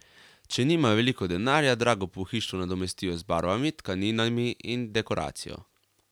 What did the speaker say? Če nimajo veliko denarja, drago pohištvo nadomestijo z barvami, tkaninami in dekoracijo.